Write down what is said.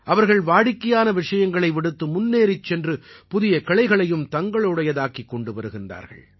அவர்கள் வாடிக்கையான விஷயங்களை விடுத்து முன்னேறிச் சென்று புதிய கிளைகளையும் தங்களுடைய தாக்கிக் கொண்டு வருகிறார்கள்